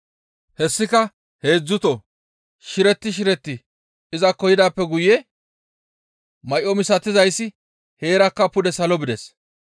Hessika heedzdzuto shiretti shiretti izakko yidaappe guye may7o misatizayssi heerakka pude salo bides.